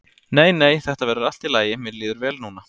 Nei nei, þetta verður allt í lagi, mér líður vel núna.